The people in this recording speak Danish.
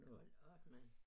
Hold op mand